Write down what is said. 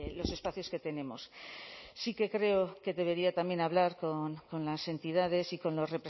los espacios que tenemos sí que creo que debería también hablar con las entidades y con los